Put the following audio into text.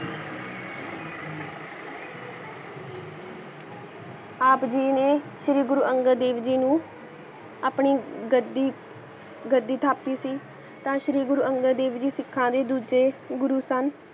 ਆਪ ਜੀ ਨੇ ਸ਼੍ਰੀ ਗੁਰੂ ਅੰਗਾ ਦੇਵ ਜੀ ਨੂ ਆਪਣੀ ਗੱਡੀ ਗੱਡੀ ਥਾਪੀ ਸੀ ਤਾ ਸ਼੍ਰੀ ਗੁਰੂ ਅੰਗਾ ਦੇਵ ਜੀ ਸ਼ਿਖਾ ਦੇ ਦੂਜੇ ਗੁਰੂ ਸਨ